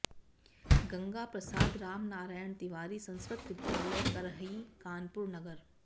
Ganga Prasad Ramnarayan Tiwari Sanskrit Vidyalaya Karrahi Kanpur Nagar